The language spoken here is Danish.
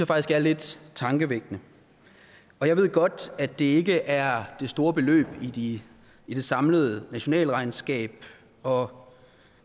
faktisk er lidt tankevækkende jeg ved godt at det ikke er det store beløb i det samlede nationalregnskab og